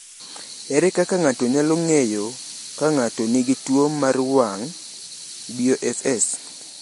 Ere kaka ng’ato nyalo ng’eyo ka ng’ato nigi tuwo mar wang’ (BOFS)?